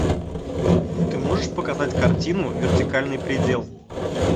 ты можешь показать картину вертикальный предел